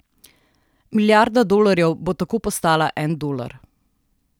Milijarda dolarjev bo tako postala en dolar.